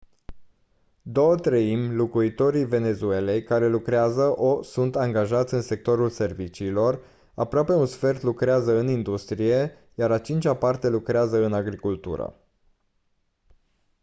două treimi locuitorii venezuelei care lucrează o sunt angajați în sectorul serviciilor aproape un sfert lucrează în industrie iar a cincea parte lucrează în agricultură